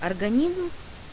организм